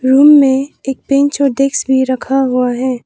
Room में एक bench और डेस्क भी रखा हुआ है।